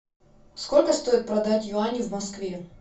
сколько стоит продать юани в москве